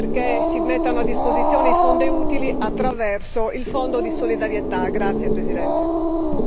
per la ricostruzione, perché si mettano a disposizione i fondi utili attraverso il Fondo di solidarietà.